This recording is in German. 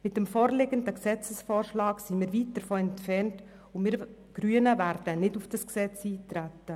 Mit dem vorliegenden Gesetzesvorschlag sind wir weit davon entfernt und wir Grünen werden nicht darauf eintreten.